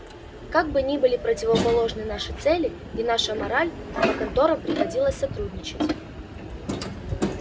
как бы ни были противоположны наши цели и наша мораль но конторам приходилось сотрудничать